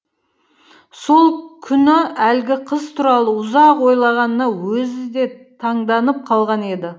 сол күні әлгі қыз туралы ұзақ ойлағанына өзі де таңданып қалған еді